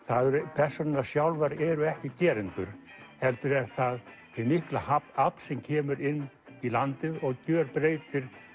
persónurnar sjálfar eru ekki gerendur heldur er það hið mikla afl sem kemur inn í landið og gjörbreytir